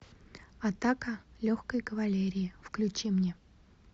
атака легкой кавалерии включи мне